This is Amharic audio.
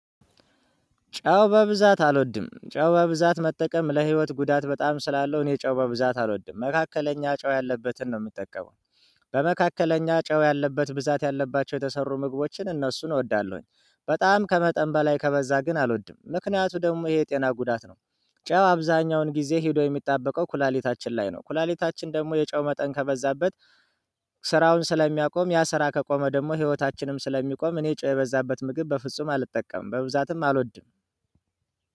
ጨው በብዛት አልወድም ጨው በብዛት መጠቀም ለህይወት ጉዳት በጣም ስላለው እኔ ጨው በብዛት አልወድም መካከለኛ ጨው ያለበትን ነው የምጠቀመው። በመካከለኛ ጨው ያለበት ብዛት ያለባቸው የተሰሩ ምግቦችን እነሱን እወዳለሁኝ በጣም ከመጠን በላይ ከበዛ ግን አልወድም ምክንያቱ ደግሞ ይሄ ጤና ጉዳት ነው። ጨው አብዛኛውን ጊዜ ሄዶ የሚጣበቀው ኩላሊታችን ላይ ነው ኩላሊታችን ደግሞ የጨው መጠን ከበዛበት። ስራውን ስለሚያቆም ያ ስራ ከቆመ ደግሞ ህይወታችንም ስለሚቆም እኔ ጨው የበዛበት ምግብ በፍጹም አልጠቀምም በብዛትም አልወድም።